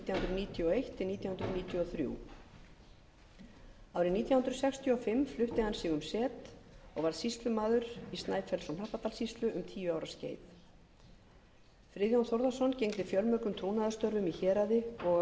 níutíu og eitt til nítján hundruð níutíu og þrjú árið nítján hundruð sextíu og fimm flutti hann sig um set og varð sýslumaður í snæfellsnes og hnappadalssýslu um tíu ára skeið friðjón þórðarson gegndi fjölmörgum trúnaðarstörfum í héraði og á